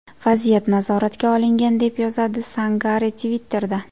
Vaziyat nazoratga olingan”, deb yozgan Sangare Twitter’da.